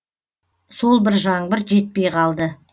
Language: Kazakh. сол бір жаңбыр жетпей қалды